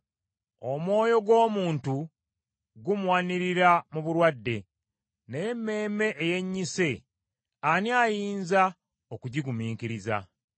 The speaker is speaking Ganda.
Omwoyo gw’omuntu gumuwanirira mu bulwadde, naye emmeeme eyennyise ani ayinza okugigumiikiriza?